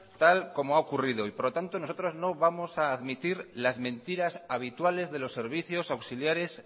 tal como ha ocurrido hoy por lo tanto nosotros no vamos a admitir las mentiras habituales de los servicios auxiliares